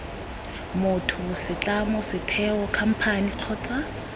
motho setlamo setheo khamphane kgotsa